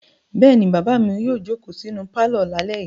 Bẹ́ẹ̀ ni, bàbá mi yóò jókòó sínú pálọ̀ lálẹ́ yìí.